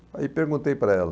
falei, aí perguntei para ela.